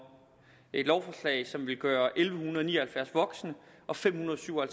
et lovforslag som vil gøre elleve ni og halvfjerds voksne og fem hundrede og syv og